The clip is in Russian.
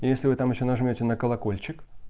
если вы там ещё нажмёте на колокольчик